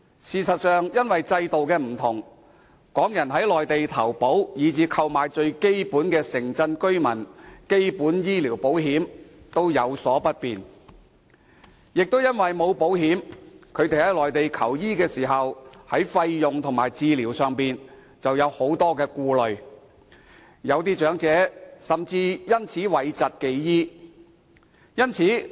事實上，由於制度不同，港人在內地投保或購買最基本的城鎮居民基本醫療保險均有所不便，而因為沒有保險，他們在內地求醫時，對於費用及治療便有很多顧慮，有些長者甚至因而諱疾忌醫。